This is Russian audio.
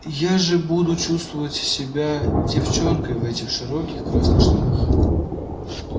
я же буду чувствовать себя девчонкой в этих широких красных штанах